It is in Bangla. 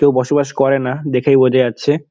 কেউ বসবাস করে না দেখেই বোঝা যাচ্ছে।